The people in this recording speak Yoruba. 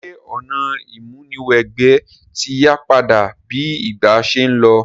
Sè ọ̀nà ìmúniwẹgbẹ́ ti yípadà bi ìgbà se n lo?